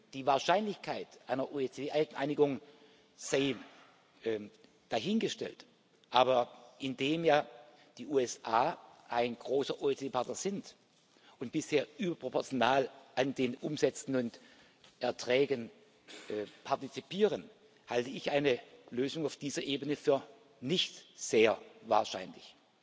Die Wahrscheinlichkeit einer OECD Einigung sei dahingestellt, aber indem ja die USA ein großer OECD Partner sind und bisher überproportional an den Umsätzen und Erträgen partizipieren, halte ich eine Lösung auf dieser Ebene für nicht sehr wahrscheinlich.